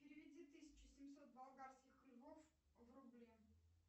переведи тысячу семьсот болгарских львов в рубли